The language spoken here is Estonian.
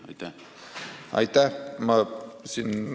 Aitäh!